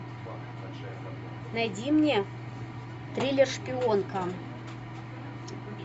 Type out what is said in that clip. найди мне триллер шпионка